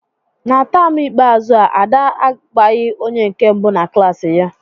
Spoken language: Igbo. Na taam ikpeazụ a, Ada a gbaghị onye nke mbụ na klaasị ya.